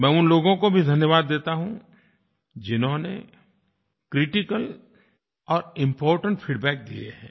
मैं उन लोगों को भी धन्यवाद देता हूँ जिन्होंने क्रिटिकल और इम्पोर्टेंट फीडबैक दिये हैं